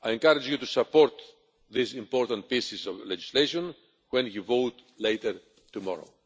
I encourage you to support these important pieces of legislation when you vote later tomorrow.